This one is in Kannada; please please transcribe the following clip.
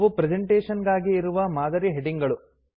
ಅವು ಪ್ರೆಸೆಂಟೇಷನ್ ಗಾಗಿ ಇರುವ ಮಾದರಿ ಹೆಡಿಂಗ್ ಗಳು